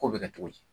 Ko bɛ kɛ cogo di